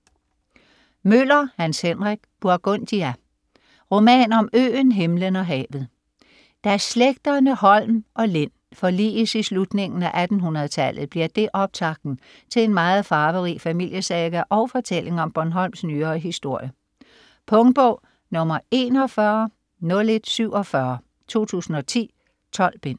Møller, Hans Henrik: Burgundia: roman om øen, himlen og havet Da slægterne Holm og Lind forliges i slutningen af 1800-tallet bliver det optakten til en meget farverig familiesaga og fortælling om Bornholms nyere historie. Punktbog 410147 2010. 12 bind.